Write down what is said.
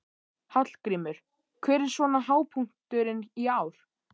Hallgrímur, hver er svona hápunkturinn í ár?